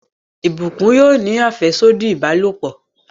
Blessing yóò ní afẹsodi ìbálòpọ̀